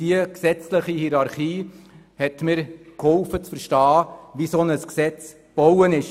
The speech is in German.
Diese gesetzliche Hierarchie hat mir geholfen, zu verstehen, wie ein Gesetz aufgebaut ist.